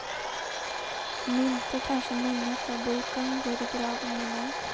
Om inte kanske minnet av boken går i graven med mig.